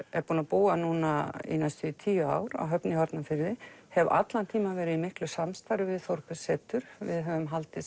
búin að búa núna í næstum því tíu ár á Höfn í Hornafirði hef allan tímann verið í miklu samstarfi við Þórbergssetur við höfum haldið